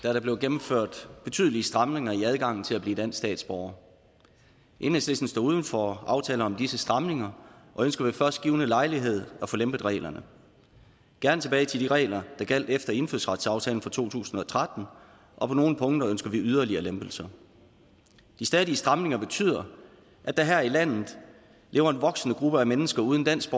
er der blevet gennemført betydelige stramninger i adgangen til at blive dansk statsborger enhedslisten står uden for aftaler om disse stramninger og ønsker ved først givne lejlighed at få lempet reglerne gerne tilbage til de regler der gjaldt efter indfødsretsaftalen fra to tusind og tretten og på nogle punkter ønsker vi yderligere lempelser de stadige stramninger betyder at der her i landet lever en voksende gruppe af mennesker uden dansk